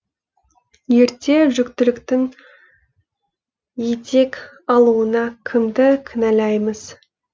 ерте жүктіліктің етек алуына кімді кінәлаймыз